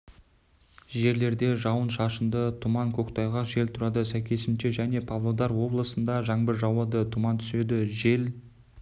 жерлерде жауын-шашынды тұман көктайғақ жел тұрады сәйкесінше және павлодар облысында жаңбыр жауады тұман түседі жел